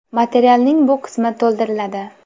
Materialning bu qismi to‘ldiriladi.